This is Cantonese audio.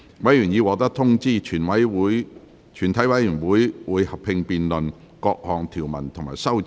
委員已獲得通知，全體委員會會合併辯論各項條文及修正案。